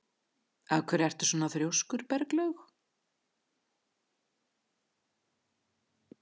Af hverju ertu svona þrjóskur, Berglaug?